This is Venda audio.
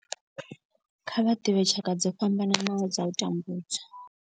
Kha vha ḓivhe tshaka dzo fhambanaho dza u tambudzwa.